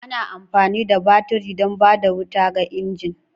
Ana amfani da baturi don ba da wuta ga injin.